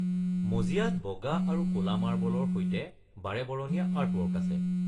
মজিয়াত বগা আৰু ক'লা মাৰ্বলৰ সৈতে বাৰেবৰণীয়া আৰ্টৱৰ্ক আছে।